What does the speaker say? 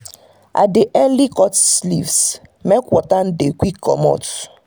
i dey earily cut leaves make water no dey quick comot.